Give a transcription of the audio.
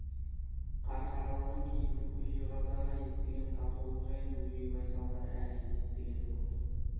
қарқаралының кейбір көше қазағы естіген татулық жайын бөжей байсалдар әлі естіген жоқ-ты